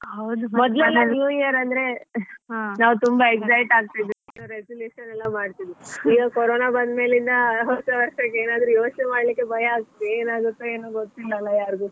New Year ಅಂದ್ರೆ ನಾವು ತುಂಬಾ excite ಆಗ್ತಾಯಿದ್ವಿ resolution ಎಲ್ಲ ಮಾಡ್ತಿದ್ವಿ. ಈಗ ಕೋರೋನಾ ಬಂದ್ಮೇಲಿಂದ ಹೊಸ ವರ್ಷಕ್ಕೆ ಏನಾದ್ರು ಯೋಚನೆ ಮಾಡ್ಲಿಕ್ಕೆ ಭಯ ಆಗುತ್ತೆ ಏನಾಗುತ್ತೋ ಏನೋ ಗೊತಿಲ್ಲಲ್ಲಾ ಯಾರಿಗೂ.